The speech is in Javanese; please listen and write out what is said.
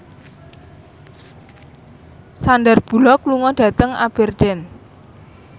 Sandar Bullock lunga dhateng Aberdeen